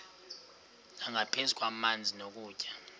nangaphezu kwamanzi nokutya